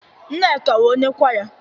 Nneka wụ onye kwaya.